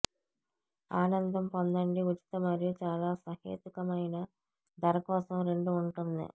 ఆనందం పొందండి ఉచిత మరియు చాలా సహేతుకమైన ధర కోసం రెండు ఉంటుంది